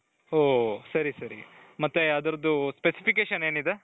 ಹ್ಮ್ ಸರಿ ಸರಿ ಮತ್ತೆ ಅದರದ್ದು specification ಏನಿದೆ .